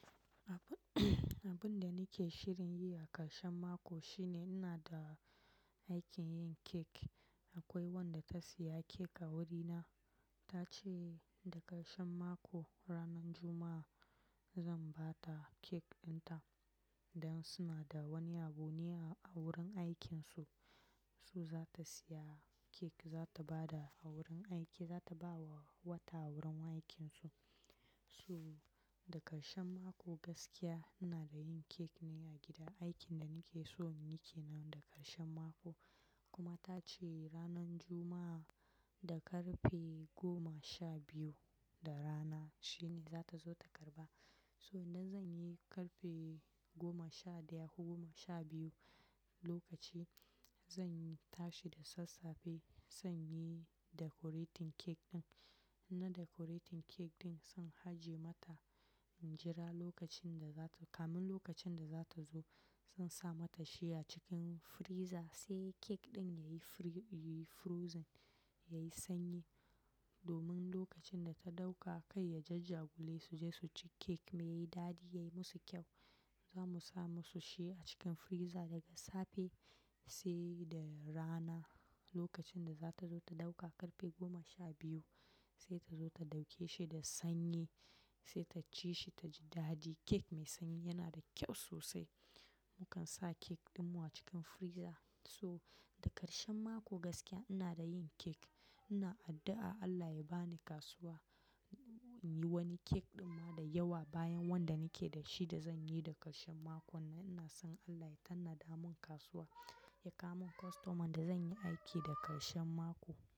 Abin da nake shirin yi a karshen mako shine ina da aikin yin cake. Akwai wanda ta siya cake a wurina. Ta ce da karshen mako ranar Juma'a zan ba ta cake dinta. Dan suna da wani abu ne a wurin aikinsu su za ta siya cake, za ta ba da a wurin aiki, za ta bawa wata a wurin aikinsu. So da karshen mako gaskiya ina da yin cake ne a gida. Aikin da nake so ni kenan da karshen mako. Kuma ta ce ranar Juma'a da karfe goma sha biyu da rana shine za ta zo ta karɓa. So idan zan yi karfe goma sha daya ko goma sha biyu, lokaci zan tashi da sassafe zan yi decorating cake din. Na decorating cake din zan aje mata injira lokacin da za ta-- kamin lokacin da za ta zo. Zan sa mata shi a cikin freezer sai cake din yayi fri-- yayi frizzing, yayi sanyi. Domin lokacin da ta ɗauka kat ya jajjagule su je su ci cake me yi dadi, yayi musu kyau. Za mu sa musu shi a cikin freezer daga safe sai da rana lokacin da za ta zo ta ɗauka karfe goma sha biyu. Sai ta zo ta ɗauke shi da sanyi sai ta ci shi ta ji dadi. Cake mai sanyi yana da kyau sosai. Mukan sa cake ɗinmu a cikin freezer. Toh da karshen mako gaskiya ina da yin cake. Ina addu'a Allah ya ba ni kasuwa in yi wani cake kuma da yawa bayan wanda nake da shi da zan yi da karshen makon nan. Ina son Allah ya tanada mun kasuwa ya kawo mun kostoma da zan yi aiki da karshen mako.